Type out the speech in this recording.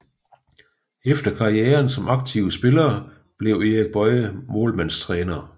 Efter karrieren som aktiv spiller blev Erik Boye målmandstræner